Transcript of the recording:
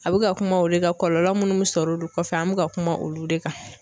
A bɛ ka kuma olu kan kɔlɔlɔ minnu sɔrɔ olu kɔfɛ an bɛ ka kuma olu de kan.